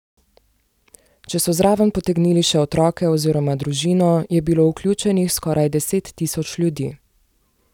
Če so zraven potegnili še otroke oziroma družino, je bilo vključenih skoraj deset tisoč ljudi.